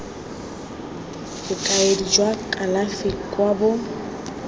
bokaedi jwa kalafi kwa bo